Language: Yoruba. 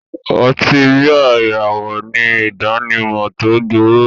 Ọtí bíà ìràwọ̀ ní ìdánimọ̀ tó gbòòrò